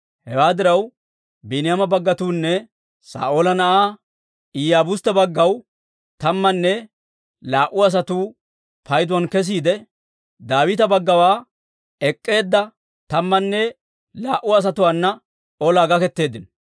Hewaa diraw, Biiniyaama baggawunne Saa'oola na'aa Iyaabustte baggawaa tammanne laa"u asatuu payduwaan kesiide, Daawita baggawaa ek'k'eedda tammanne laa"u asatuwaana olaa gaketeeddino.